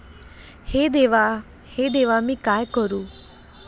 हे देवा, हे देवा, मी काय करू?